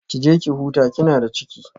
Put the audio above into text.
Ki je ki huta kina da ciki